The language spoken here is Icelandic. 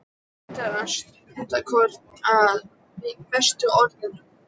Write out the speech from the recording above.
Hann leitar stundarkorn að bestu orðunum.